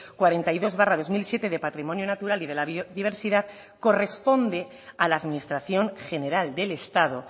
cuarenta y dos barra dos mil siete de patrimonio natural y de la biodiversidad corresponde a la administración general del estado